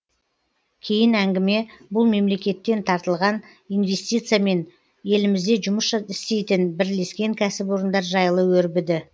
кейін әңгіме бұл мемлекеттен тартылған инвестиция мен елімізде жұмыс істейтін бірлескен кәсіпорындар жайлы өрбіді